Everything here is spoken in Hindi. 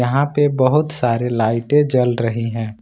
यहां पे बहुत सारे लाइटें जल रही हैं।